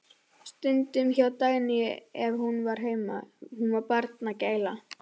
Stundum hjá Dagnýju ef hún var heima, hún var barnagæla.